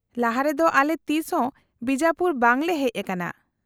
-ᱞᱟᱦᱟᱨᱮ ᱫᱚ ᱟᱞᱮ ᱛᱤᱥᱦᱚᱸ ᱵᱤᱡᱟᱯᱩᱨ ᱵᱟᱝᱞᱮ ᱦᱮᱡ ᱟᱠᱟᱱᱟ ᱾